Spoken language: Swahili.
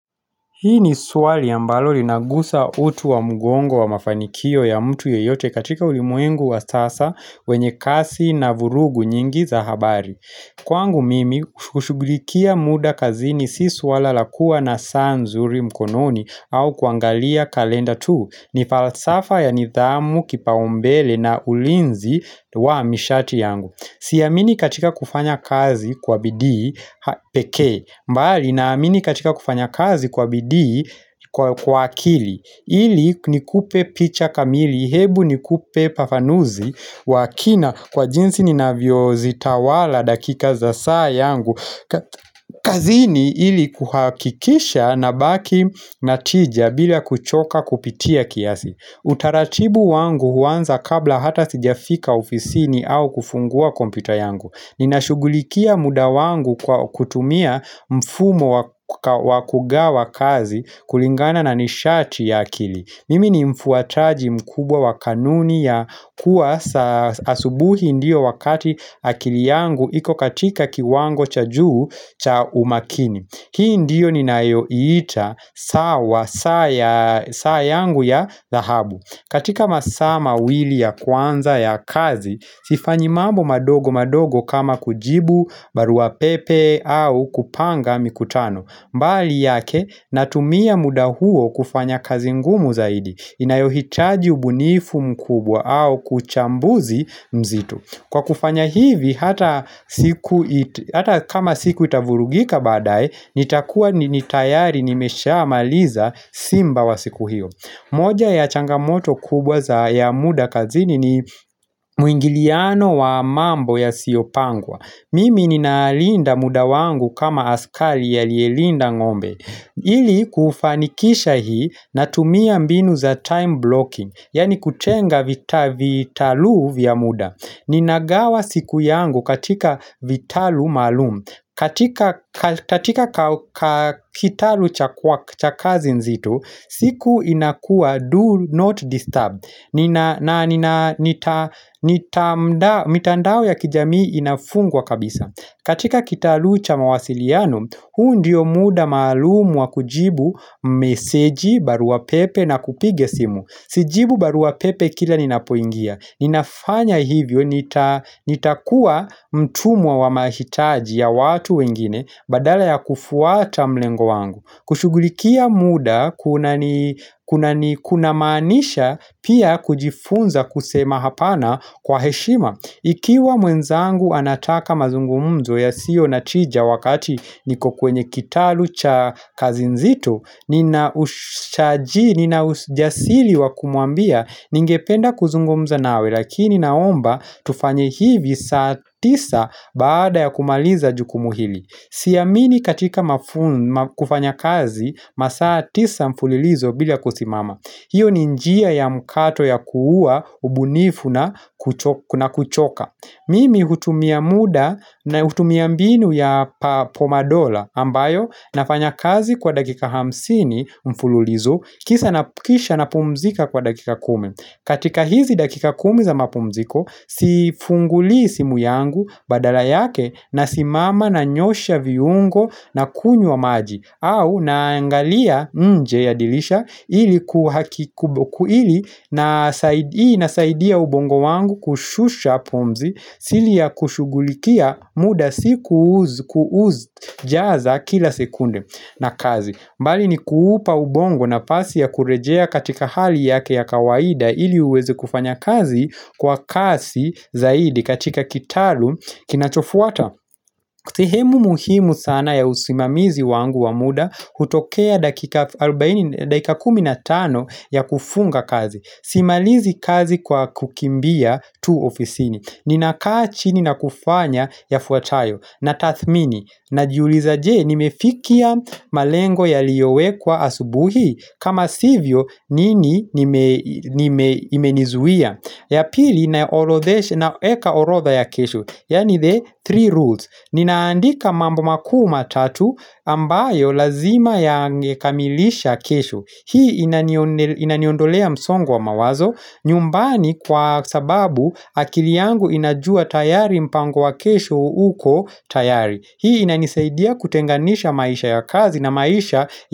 Hii ni swali ambalo linagusa uti wa mgongo wa mafanikio ya mtu yeyote katika ulimwengu wa sasa wenye kasi na vurugu nyingi za habari. Kwangu mimi, hushugulikia muda kazini si suala la kuwa na saa nzuri mkononi au kuangalia kalenda tu. Ni falsafa ya nidhamu kipaumbele na ulinzi wa mishati yangu. Siamini katika kufanya kazi kwa bidii pekee bali naamini katika kufanya kazi kwa bidii kwa akili ili nikupe picha kamili hebu nikupe ufafanuzi wa kina kwa jinsi ninavyozitawala dakika za saa yangu kazini ili kuhakikisha nabaki na tija bila kuchoka kupitia kiasi. Utaratibu wangu huanza kabla hata sijafika ofisini au kufungua kompyuta yangu. Ninashughulikia muda wangu kwa kutumia mfumo wa wa kugawa kazi kulingana na nishati ya akili. Mimi ni mfuataji mkubwa wa kanuni ya kuwa saa asubuhi ndiyo wakati akili yangu iko katika kiwango cha juu cha umakini Hii ndiyo ninayoiita sawa saa ya saa yangu ya dhahabu. Katika masaa mawili ya kwanza ya kazi, sifanyi mambo madogo madogo kama kujibu barua pepe au kupanga mikutano. Mbali yake natumia muda huo kufanya kazi ngumu zaidi inayohitaji ubunifu mkubwa au uchambuzi mzito. Kwa kufanya hivi hata siku kama siku itavurugika baadaye nitakuwa ni tayari nimeshamaliza simba wa siku hiyo. Moja ya changamoto kubwa ya muda kazini ni Mwingiliano wa mambo yasiyopangwa. Mimi ninalinda muda wangu kama askari aliyelinda ngombe ili kufanikisha hii natumia mbinu za time blocking yaani kutenga vitalu vya muda. Ninagawa siku yangu katika vitalu maalum. Katika kitalu cha cha kazi nzito, siku inakuwa do not disturb. Na nina mitandao ya kijamii inafungwa kabisa. Katika kitalu cha mawasiliano, huu ndiyo muda maalumu wa kujibu meseji, barua pepe na kupiga simu. Sijibu barua pepe kila ninapoingia. Ninafanya hivyo nitakuwa mtumwa wa mahitaji ya watu wengine badala ya kufuata mlengo wangu kushughulikia muda kunamaanisha pia kujifunza kusema hapana kwa heshima. Ikiwa mwenzangu anataka mazungumzo yasiyo na tija wakati niko kwenye kitalu cha kazi nzito. Nina ushaji, nina ujasiri wa kumwambia ningependa kuzungumza nawe lakini naomba tufanye hivi, saa tisa baada ya kumaliza jukumu hili Siamini katika kufanya kazi masaa tisa mfulilizo bila kusimama hiyo ni njia ya mkato ya kuua ubunifu na na kuchoka. Mimi hutumia muda natumia mbinu ya pomadola ambayo nafanya kazi kwa dakika hamsini mfululizo kisha napumzika kwa dakika kumi. Katika hizi dakika kumi za mapumziko sifungulii simu yangu badala yake nasimama nanyoosha viungo na kunywa maji au naangalia nje ya dirisha ili, hii inasaidia ubongo wangu kushusha pumzi siri ya kushughulikia muda si kuuzi jaza kila sekunde na kazi bali ni kuupa ubongo nafasi ya kurejea katika hali yake ya kawaida ili uweze kufanya kazi kwa kasi zaidi katika kitalu kinachofuata sehemu muhimu sana ya usimamizi wangu wa muda hutokea dakika kumi na tano ya kufunga kazi. Simalizi kazi kwa kukimbia tu ofisini. Ninakaa chini na kufanya yafuatayo. Natathmini, najiuliza je nimefikia malengo yaliyowekwa asubuhi? Kama sivyo nini imenizuia,. Ya pili naorodhesha, naweka orodha ya kesho, yaani the three rules. Ninaandika mambo makuu matatu ambayo lazima yangekamilisha kesho. Hii inaniondolea msongo wa mawazo nyumbani kwa sababu akili yangu inajua tayari mpango wa kesho uko tayari. Hii inanisaidia kutenganisha maisha ya kazi na maisha.